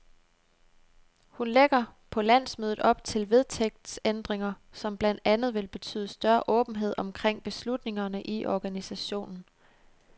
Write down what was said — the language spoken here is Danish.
Hun lægger på landsmødet op til vedtægtsændringer, som blandt andet vil betyde større åbenhed omkring beslutningerne i organisationen.